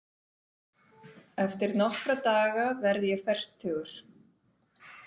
Eftir nokkra daga verð ég fertugur.